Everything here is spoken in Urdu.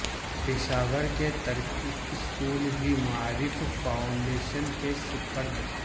پشاور کے ترک اسکول بھی معارف فاونڈیشن کے سپرد